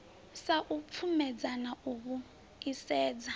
sa u pfumedzana u vhuisedza